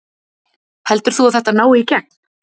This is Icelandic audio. Heldur þú að þetta nái í gegn?